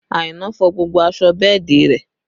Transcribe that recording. Aina fọ gbogbo aṣọ bẹ́ẹ̀dì rẹ